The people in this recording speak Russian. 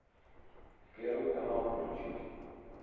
первый канал включить